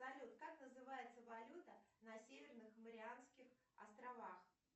салют как называется валюта на северных марианских островах